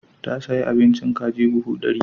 Ya sayi abincin kaji buhu ɗari.